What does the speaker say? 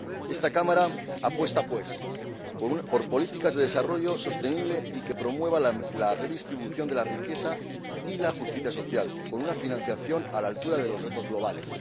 Esta Cámara apuesta, así, por políticas en pro de un desarrollo sostenible y que promueva la redistribución de la riqueza y la justicia social, con una financiación a la altura de los retos globales.